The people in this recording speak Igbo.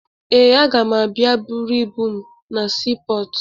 Ee, aga m abịa buru ibu m na siipọọtụ